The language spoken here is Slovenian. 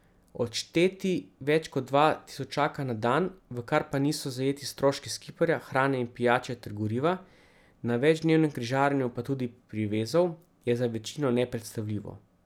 Odšteti več kot dva tisočaka na dan, v kar pa niso zajeti stroški skiperja, hrane in pijače ter goriva, na večdnevnem križarjenju pa tudi privezov, je za večino nepredstavljivo.